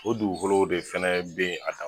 O dugukolow de fɛnɛ be ye a dan